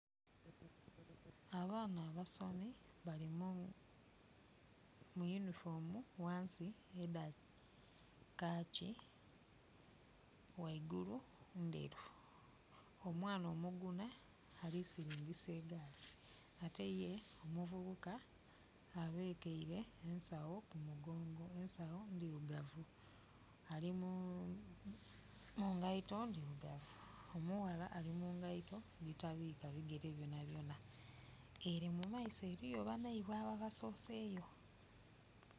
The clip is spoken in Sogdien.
Abaana abasomi bali mu yunifoomu ghansi edha kaki ghaigulu ndheru. Omwaana omugunha ali silingisa egaali ate ye omuvubuka abekeire ensawo ku mugongo, ensawo ndhirugavu ali mungaito ndhirugavu. Omughala ali mu ngaito editabwika bigere byona byona, ere mu maiso eriyo baneibwe ababasoseyo.